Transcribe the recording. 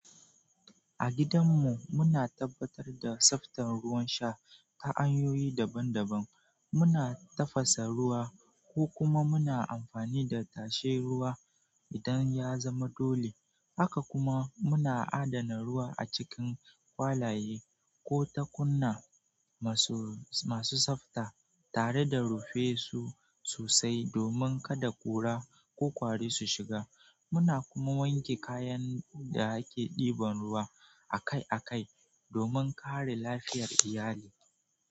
A gidanmu, muna tabbatar da tsabtan ruwan sha ta hanyoyi daban-daban. Muna tafasa ruwa ko kuma muna amfani da tashe ruwa idan ya zama dole. Haka kuma muna adana ruwa a cikin kwalaye ko takuna masu tsafta tare da rufe su sosai domin kada ƙura ko ƙwari su shiga. Muna kuma wanke kayan da ake ɗiban ruwa akai akai domin kare lafiyar iyali.